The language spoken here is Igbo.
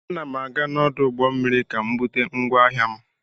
Ana m aga n'ọdụ ụgbọ mmiri ka m bute ngwa ahịa m.